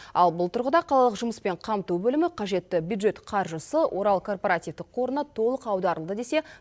ал бұл тұрғыда қалалық жұмыспен қамту бөлімі қажетті бюджет қаржысы орал корпоративтік қорына толық аударылды десе